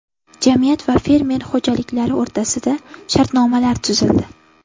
Jamiyat va fermer xo‘jaliklari o‘rtasida shartnomalar tuzildi.